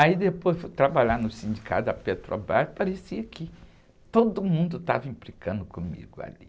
Aí depois fui trabalhar no sindicato da Petrobras e parecia que todo mundo estava implicando comigo ali.